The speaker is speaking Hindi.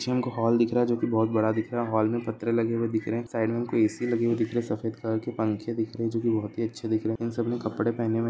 जिम का हॉल दिख रहा है जो की बहोत बड़े दिख बढ़ है हॉल मे पत्रे लगे हुए दिख रहे है साइड मे हमको ए सी लगे हुए दिख रहे सफेद कलर के पंखे दिख रहे है जो की बहोत अच्छे दिख रहे है इन सब ने कपड़े पहने हुए है --